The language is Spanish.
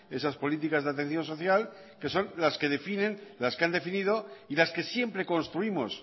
esas políticas de atención social que son las que definen las que han definido y las que siempre construimos